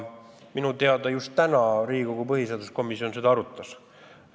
Minu teada just täna Riigikogu põhiseaduskomisjon seda arutas.